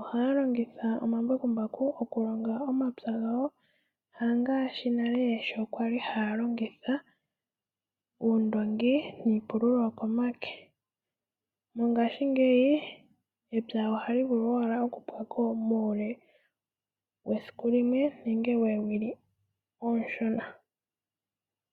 ohaya longitha omambakumbaku mokulonga omapya gawo ,hangaashi nale sho kwali haya longitha oondoongi niipululo yopomake . Mongashingeyi epya ohali vulu owala okupyako muule wesiku limwe nenge lyoowili oonshona.